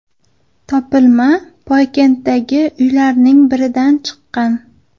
Topilma Poykenddagi uylarning biridan chiqqan.